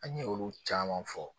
An ye olu caman fɔ